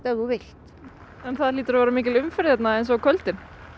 þú vilt en það hlýtur að vera mikil umferð hérna á kvöldin